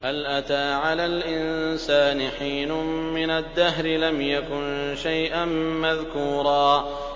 هَلْ أَتَىٰ عَلَى الْإِنسَانِ حِينٌ مِّنَ الدَّهْرِ لَمْ يَكُن شَيْئًا مَّذْكُورًا